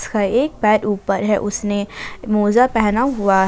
एक पैर ऊपर है उसने मोजा पहना हुआ है।